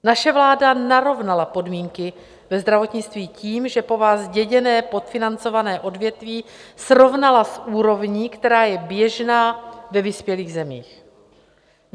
Naše vláda narovnala podmínky ve zdravotnictví tím, že po vás zděděné podfinancované odvětví srovnala s úrovní, která je běžná ve vyspělých zemích.